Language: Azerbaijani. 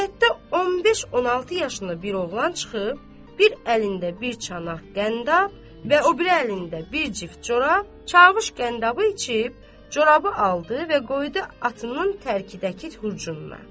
Həyətdə 15-16 yaşında bir oğlan çıxıb, bir əlində bir çanaq qəndab və o biri əlində bir cüt corab, çavuş qəndabı içib, corabı aldı və qoydu atının tərkidəki hurcununa.